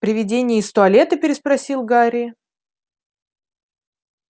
привидение из туалета переспросил гарри